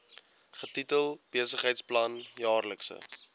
getitel besigheidsplan jaarlikse